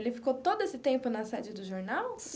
Ele ficou todo esse tempo na sede do jornal?